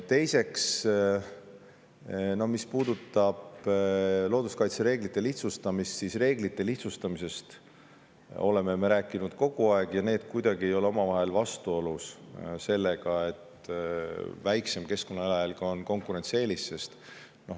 Teiseks, mis puudutab looduskaitsereeglite lihtsustamist, siis sellest me oleme rääkinud kogu aeg ja need asjad ei ole omavahel kuidagi vastuolus, sest väiksem keskkonnajalajälg on konkurentsieelis.